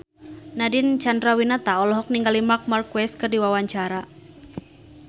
Nadine Chandrawinata olohok ningali Marc Marquez keur diwawancara